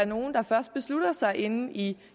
nogle der først beslutter sig inde i